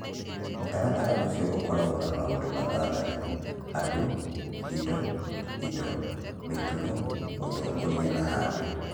Mũtaratara ũcio ũkoragwo na maũndũ matandatũ (andũ, indo, indo, mĩtugo, ũtongoria, na handũ).